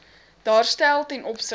daarstel ten opsigte